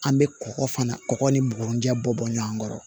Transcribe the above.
An bɛ kɔgɔ fana kɔgɔ ni bugurinjɛ bɔ bɔ ɲɔgɔn kɔrɔ